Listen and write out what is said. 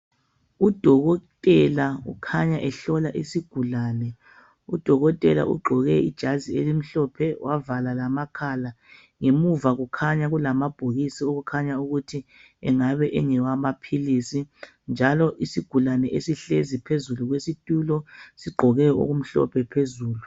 udokotela ukhanya ehlola isigulane udokotela ugqoke ijazi elimhlophe wavala lamakhala ngemuva kukhanya kulama bhokisi okukhanya ukuthi engaba engawama philisi njalo isigulane esihlezi phezu kwesitulo sigqoke okumhlophe phezulu